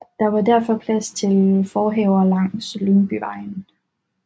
Der var derfor plads til forhaver langs Lyngbyvejen